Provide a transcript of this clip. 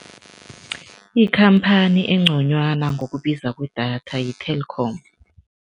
Ikhamphani engconywana ngokubuza kwedatha yi-Telkom.